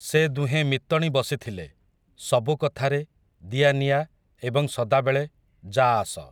ସେ ଦୁହେଁ ମିତଣୀ ବସିଥିଲେ, ସବୁକଥାରେ, ଦିଆନିଆ, ଏବଂ ସଦାବେଳେ, ଯାଆଆସ ।